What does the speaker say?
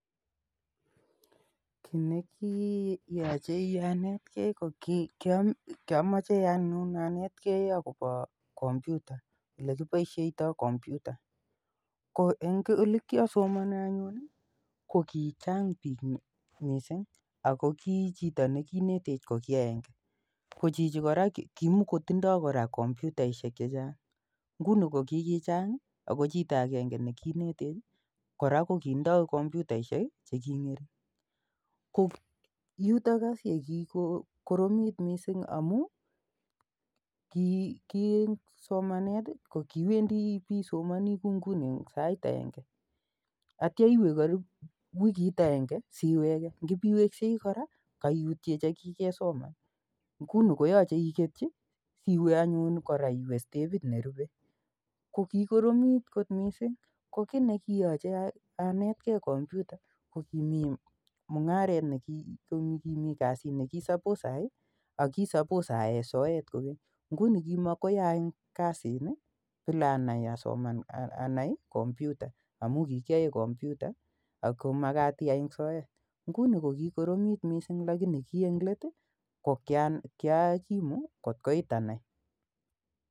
Ki ne kiyache anet gei ko ki amache anyjn anetgei akopa kompyuta, ole kipaishaitae kompyuta. Ko eng' ole kiasomane anyun i, ko kichang' piik missing' ako ki chito ne kiinetech ko ki agenge. Ko chito ne kiinetech ko kimakotindai kora komyutaishek che chang'.Nguni ko kikichang' i, ako chito agenge ne kiinetech i, ako kitindai kompyutaishek che king'ering' , yutok as ye kikoromit missing' amu ki eng' somanet i, ko kiiwendi ipi somani kou nguni eng' sait agenge atia iwe karipu wikit akenge asiwege. Ngipiweksei kora kaiutie che kikesoman nguno ko yache iketchi iwe anyun kora iwe stepit ne rupe. Ko kikoromit kot missing'. Ko ki ne kiyache anetkei kompyuta ko kimi mung'aret, kasit ne suppose ayai aki suppose ayae soet kokeny. Nguni ko ki makoi ayai kasini bila anai kompyuta amu kikiyae kompyuta ako makat iyai ebg' soet. Nguni ko kikoromit missing' amu ki eng' let ko kiakimu kot koit anai.